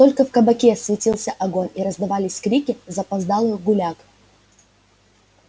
только в кабаке светился огонь и раздавались крики запоздалых гуляк